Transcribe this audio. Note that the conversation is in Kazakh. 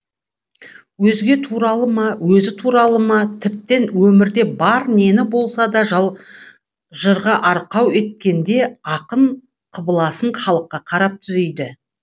өзге туралы ма өзі туралы ма тіптен өмірде бар нені болса да жырғаарқау еткенде ақын қыбыласын халыққа қарап түзейді